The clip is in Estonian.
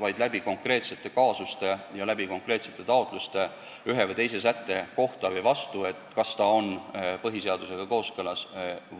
Vastata saab konkreetseid kaasusi silmas pidades, hinnates konkreetseid viiteid ühele või teisele sättele, et kas need on põhiseadusega kooskõlas